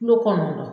Kulo kɔnɔna na